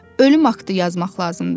Ölüm aktı yazmaq lazımdır.